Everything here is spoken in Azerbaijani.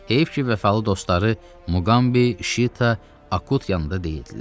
Heyif ki, vəfalı dostları Muqambi, Şita, Akut yanında deyildilər.